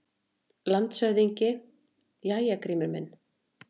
LANDSHÖFÐINGI: Jæja, Grímur minn!